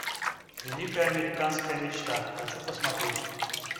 великая американская мечта хочу посмотреть